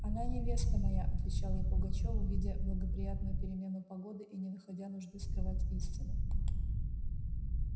она невеста моя отвечал я пугачёву видя благоприятную перемену погоды и не находя нужды скрывать истину